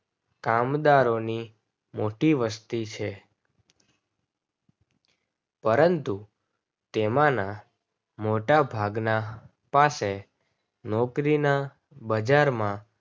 કામદારો ની મોટી વસ્તી છે પરંતુ તેમાના મોટા ભાગના પાસે નોકરીના બજાર માં